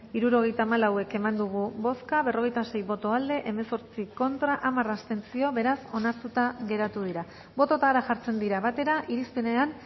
hirurogeita hamalau eman dugu bozka berrogeita sei boto aldekoa hemezortzi contra hamar abstentzio beraz onartuta geratu dira bototara jartzen dira batera irizpenean